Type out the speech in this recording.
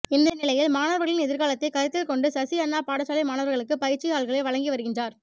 இந்த நிலையில் மணவர்களின் எதிர்காலத்தை கருத்தில் கொண்டு சசி அண்ணா பாடசாலை மாணவர்களுக்கு பயிற்சி தாள்களை வழங்கி வருகின்றார்